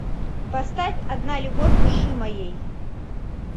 поставь одна любовь души моей